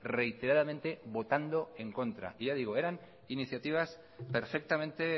reiteradamente votando en contra y ya digo eran iniciativas perfectamente